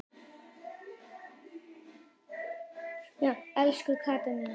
Elsku Katla mín.